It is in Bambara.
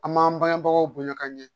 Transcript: An m'an bangebagaw bonya ka ɲɛ